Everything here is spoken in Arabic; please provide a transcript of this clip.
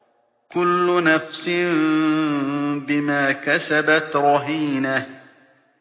كُلُّ نَفْسٍ بِمَا كَسَبَتْ رَهِينَةٌ